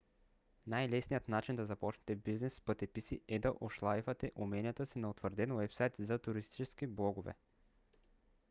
най - лесният начин да започнете бизнес с пътеписи е да ошлайфате уменията си на утвърден уебсайт за туристически блогове